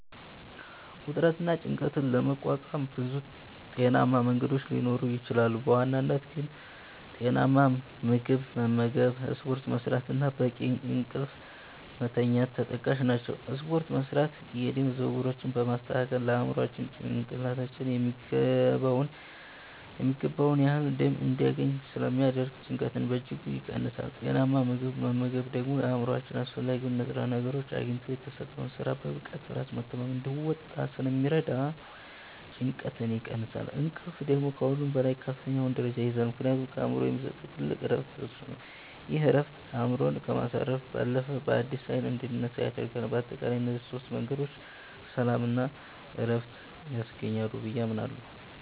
ውጥረትንና ጭንቀትን ለመቋቋም ብዙ ጤናማ መንገዶች ሊኖሩ ይችላሉ፤ በዋናነት ግን ጤናማ ምግብ መመገብ፣ ስፖርት መስራት እና በቂ እንቅልፍ መተኛት ተጠቃሽ ናቸው። ስፖርት መስራት የደም ዝውውራችንን በማስተካከል ለአእምሯችን (ጭንቅላታችን) የሚገባውን ያህል ደም እንዲያገኝ ስለሚያደርግ ጭንቀትን በእጅጉ ይቀንሳል። ጤናማ ምግብ መመገብ ደግሞ አእምሯችን አስፈላጊውን ንጥረ ነገር አግኝቶ የተሰጠውን ሥራ በብቃትና በራስ መተማመን እንዲወጣ ስለሚረዳው ጭንቀትን ይቀንሳል። እንቅልፍ ደግሞ ከሁሉም በላይ ከፍተኛውን ደረጃ ይይዛል፤ ምክንያቱም ለአእምሮ የሚሰጠው ትልቁ ዕረፍት እሱ ነው። ይህ ዕረፍት አእምሮን ከማሳረፍ ባለፈ፣ በአዲስ ኃይል እንድንነሳ ያደርገናል። በአጠቃላይ እነዚህ ሦስት መንገዶች ሰላምና ዕረፍት ያስገኛሉ ብዬ አምናለሁ።